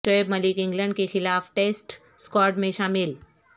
Shoaib Malik England کے خلاف test squad میں شامل